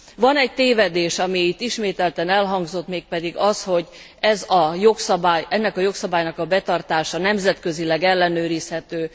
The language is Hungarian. Van egy tévedés, ami itt ismételten elhangzott, mégpedig az, hogy ennek a jogszabálynak a betartása nemzetközileg ellenőrizhető.